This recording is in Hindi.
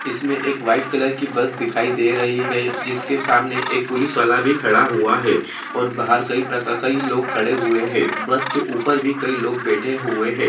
इसके सामने एक वाईट कलर की बस दिखाई दे रही है जिसके सामने एक पुलिस वाला भी खड़ा हुआ है और बाहर कई प्रका कई लोग खड़े हुये है बस के उपर भी कई लोग बैठे हुये हैं।